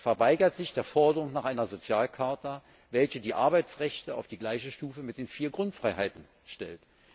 Er verweigert sich der Forderung nach einer Sozialcharta, welche die Arbeitsrechte auf die gleiche Stufe mit den vier Grundfreiheiten stellt.